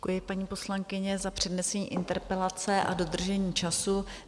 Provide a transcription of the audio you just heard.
Děkuji, paní poslankyně, za přednesení interpelace a dodržení času.